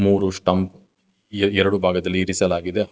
ಮೂರು ಸ್ಟಂಪ್ ಎರಡು ಭಾಗದಲ್ಲಿ ಇರಿಸಲಾಗಿದೆ.